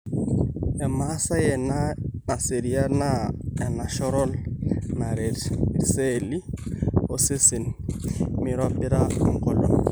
Emasaai ena naserian naa enenashorol naret isceeli osesen meirobira engolon.